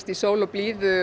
sól og blíðu